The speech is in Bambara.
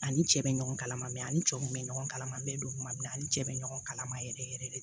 Ani cɛ bɛ ɲɔgɔn kalama ani cɛw kun bɛ ɲɔgɔn kalama an bɛ don kuma bɛɛ ani cɛ bɛ ɲɔgɔn kalama yɛrɛ yɛrɛ de